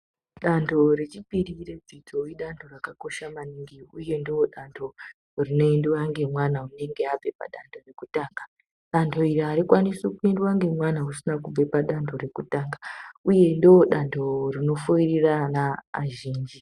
Danho rechipiri redzidzo idanho rakakosha mingi, uye ndodanho rinoendwe nemwana unonga abve padanho rekutanga. Danho iri harikwanisi kupindwa nemwana usina kubva padanho rekutanga, uye ndodanho rinofoirira ana azhinji.